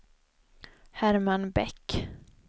Herman Bäck